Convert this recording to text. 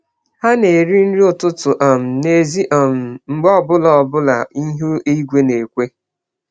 Ha na-eri nri ụtụtụ um n’èzí um mgbe ọ bụla bụla ihu igwe na-ekwe.